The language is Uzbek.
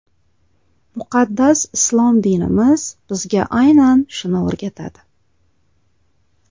Muqaddas islom dinimiz bizga aynan shuni o‘rgatadi.